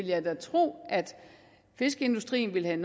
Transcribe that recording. jeg vil tro at fiskeindustrien vil have